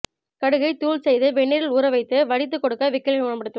கடுகை தூள் செய்து வெந்நீரீல் ஊற வைத்து வடித்து கொடுக்க விக்கலை குணப்படுத்தும்